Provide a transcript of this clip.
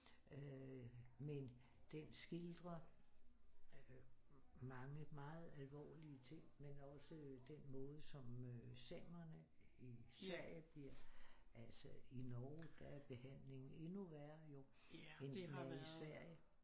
Men den skildrer øh mange meget alvorlige ting men også den måde som øh samerne i Sverige bliver altså i Norge der er behandlingen endnu være jo end den er i Sverige